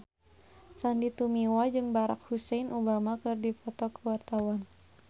Sandy Tumiwa jeung Barack Hussein Obama keur dipoto ku wartawan